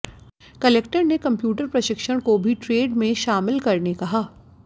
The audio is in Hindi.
कलेक्टर ने कम्प्यूटर प्रशिक्षण को भी ट्रेड मेें शामिल करने कहा